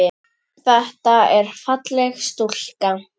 Þetta er falleg stúlka.